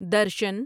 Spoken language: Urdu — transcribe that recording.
درشن